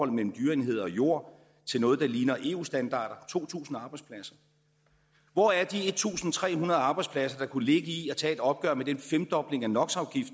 er mellem dyreenheder og jord til noget der ligner eu standarder to tusind arbejdspladser hvor er de en tusind tre hundrede arbejdspladser der kunne ligge i at tage et opgør med den femdobling af no